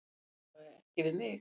Alla vega ekki við mig.